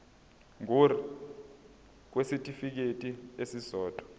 ngur kwisitifikedi esisodwa